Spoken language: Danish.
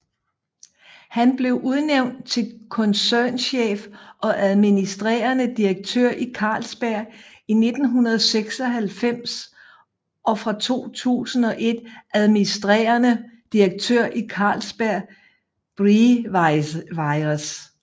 Han blev udnævnt til koncernchef og administrerende direktør i Carlsberg i 1996 og fra 2001 administrerende direktør i Carlsberg Breweries